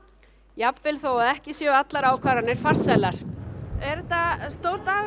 jafnvel þótt ekki séu allar ákvarðanir farsælar er þetta stór dagur